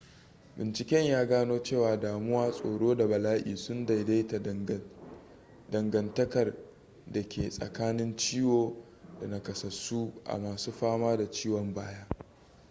binciken ya gano cewa damuwa tsoro da bala'i sun daidaita dangantakar da ke tsakanin ciwo da nakasassu a masun fama da ciwon baya